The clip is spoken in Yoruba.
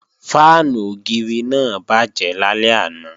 Fáànù ògiri náà bàjẹ́ lálẹ́ àná